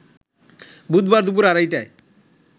বুধবার দুপুর আড়াইটায়